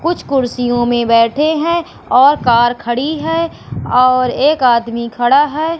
कुछ कुर्सियों में बैठे हैं और कार खड़ी है और एक आदमी खड़ा है।